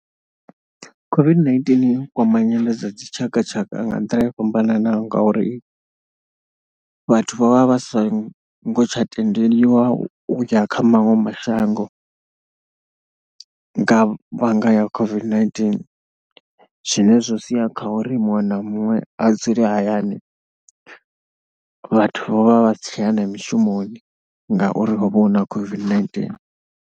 COVID-19i kwama nyendo dza dzitshakatshaka nga nḓila yo fhambananaho ngauri vhathu vha vha vha sa ngo tsha tendeliwa u ya kha maṅwe mashango nga vhanga ya COVID-19, zwine zwo sia kha uri muṅwe na muṅwe a dzule hayani, vhathu vho vha vha si tsha ya na mishumoni ngauri ho vha hu na COVID-19.